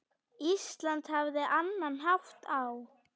Ísland hafði annan hátt á.